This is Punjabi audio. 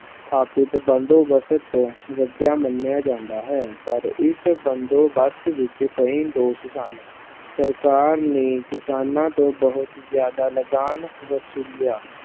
ਸਥਾਪਿਤ ਬੰਦੋਬਸਤ ਤੋਂ ਵਧੀਆ ਮੰਨਿਆ ਜਾਂਦਾ ਹੈ ਪਰ ਇਸ ਬੰਦੋਬਸਤ ਵਿੱਚ ਕਈ ਦੋਸ਼ ਸਨ, ਸਰਕਾਰ ਨੇ ਕਿਸਾਨਾਂ ਤੋਂ ਬਹੁਤ ਜ਼ਿਆਦਾ ਲਗਾਨ ਵਸੂਲਿਆ